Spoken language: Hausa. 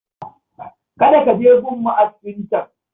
Kada ka je gun ma'askin can